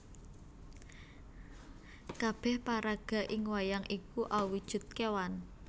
Kabéh paraga ing wayang iku awujud kewan